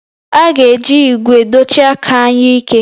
A ga-eji ígwè dochie aka anyụike